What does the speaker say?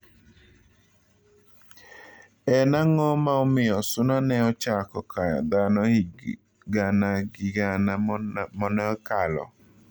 En ang'o ma omiyo suna ne ochako kayo dhano higi gana gi gana moneokalo